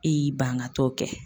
E y'i ban ka t'o. kɛ